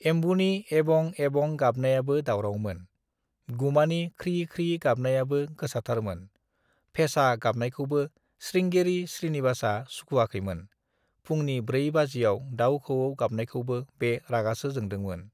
एमबुनि एबं एबं गाबनायाबो दावरावमोन। गुमानि ख्रि ख्रि गाबनायाबो गोसाथारमोन। फेसा गाबनायखौबो स्रिंगेरि स्रिनिबासआ सुखुआखैमोन। फुंनि ब्रै बाजिआव दाव खौऔ गाबनायखौबो बे रागासो जोंदोंमोन।